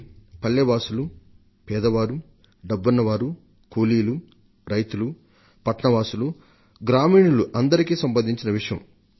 పల్లెవాసులు పేదవారు డబ్బున్నవారు కూలీలు రైతులు పట్నవాసులు గ్రామీణులు అందరికీ సంబంధించిన విషయం ఇది